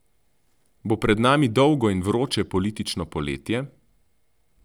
Bo pred nami dolgo in vroče politično poletje?